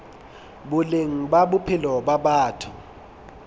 boleng ba bophelo ba batho